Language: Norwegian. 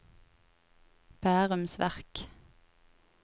Bærums Verk